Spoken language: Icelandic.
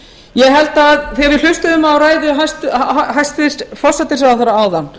ég held að þegar við hlustuðum á ræðu hæstvirts forsætisráðherra áðan